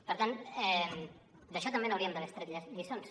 per tant d’això també n’hauríem d’haver extret lliçons